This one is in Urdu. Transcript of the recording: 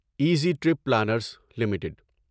easy trip planners limited